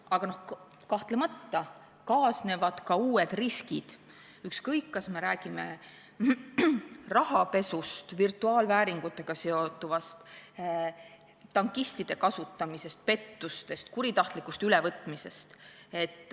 Aga kahtlemata kaasnevad ka uued riskid, ükskõik, kas me räägime rahapesust, virtuaalvääringutega seonduvast, tankistide kasutamisest, pettustest, kuritahtlikust ülevõtmisest.